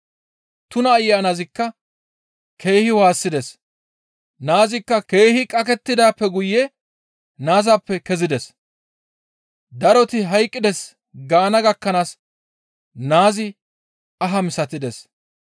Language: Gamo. Tuna ayanazikka keehi waassides; naazikka keehi qakettidaappe guye naazappe kezides. Daroti hayqqides gaana gakkanaas naazi aha misatides.